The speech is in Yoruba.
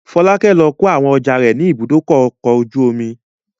Fọlákẹ́ lọ kó àwọn ọjà rẹ̀ ní Ibùdó-ọkọ̀ ojú-omi.